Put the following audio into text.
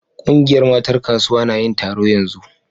Kungiyar matan kasuwa na yin taro yanzu.